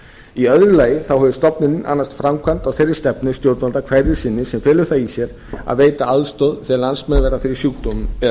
í öðru lagi hefur stofnunin annast framkvæmd á þeirri stefnu stjórnvalda hverju sinni sem felur það í sér að veita aðstoð þegar landsmenn verða fyrir sjúkdómum eða